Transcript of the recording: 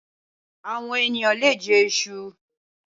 Awòn éniyàn lé jè èṣú